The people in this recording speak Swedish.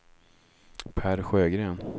Per Sjögren